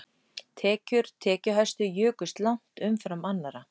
Tekjur tekjuhæstu jukust langt umfram annarra